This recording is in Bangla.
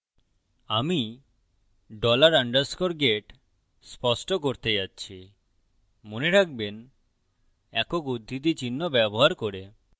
আমি dollar underscore get স্পষ্ট করতে যাচ্ছি মনে রাখবেন একক উদ্ধৃতি চিহ্ন ব্যবহার করে